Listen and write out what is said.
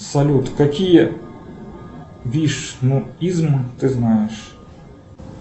салют какие вишнуизм ты знаешь